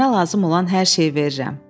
Sənə lazım olan hər şeyi verirəm.